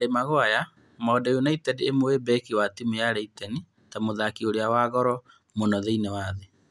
Harĩ Maguere: Maũndũ United ĩmũĩ mbeki wa timu ya Leiteni ta mũthaki ũrĩa wa goro mũno thĩ ng'ima.